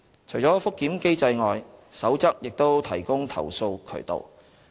除覆檢機制外，《守則》亦提供投訴渠道。